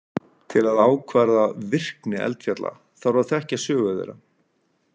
Til að ákvarða virkni eldfjalla þarf að þekkja sögu þeirra.